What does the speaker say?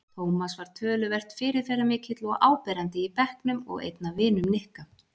Tómas var töluvert fyrirferðarmikill og áberandi í bekknum og einn af vinum Nikka.